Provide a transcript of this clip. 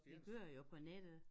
Det kører jo på nettet